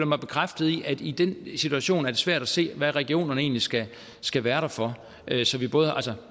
mig bekræftet i at i den situation er det svært at se hvad regionerne egentlig skal skal være der for